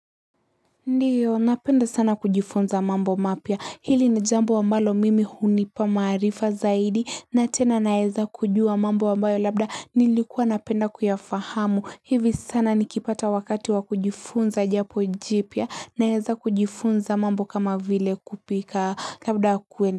Ndiyo napenda sana kujifunza mambo mapya, ili ni jambo ambalo mimi hunipa maarifa zaidi na tena naeza kujua mambo ambayo labda, nilikuwa napenda kuyafahamu hivi sana nikipata wakati wa kujifunza jambo jipya. Naeza kujifunza mambo kama vile kupika labda kuenda.